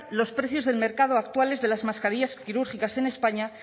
los precios de mercado actuales de las mascarillas quirúrgicas en españa